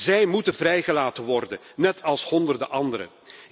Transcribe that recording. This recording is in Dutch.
Zij moeten vrijgelaten worden, net als honderden anderen.